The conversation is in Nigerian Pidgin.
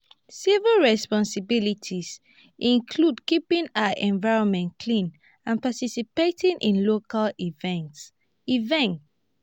civic responsibility include keeping our environment clean and participating in local events. events.